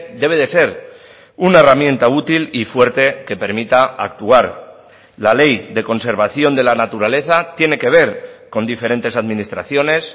debe de ser una herramienta útil y fuerte que permita actuar la ley de conservación de la naturaleza tiene que ver con diferentes administraciones